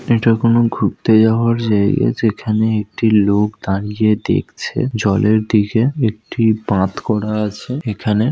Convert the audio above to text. এটা কোনো ঘুরতে যাওয়ার জায়গা এখানে একটি লোক দাঁড়িয়ে দেখছে জলের দিকে একটি পাথ করা আছে এখানে ।